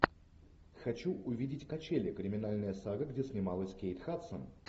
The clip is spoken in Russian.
хочу увидеть качели криминальная сага где снималась кейт хадсон